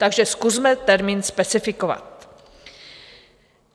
Takže zkusme termín specifikovat.